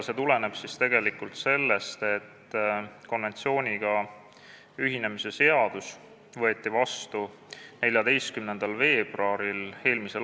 See tuleneb sellest, et konventsiooniga ühinemise seadus võeti vastu 14. veebruaril m.